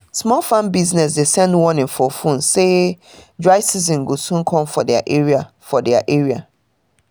small farm business dey send warning for phone say dry season go soon come for their area for their area